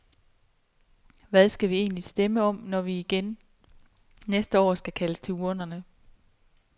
Hvad skal vi egentlig stemme om, når vi næste år igen skal kaldes til urnerne?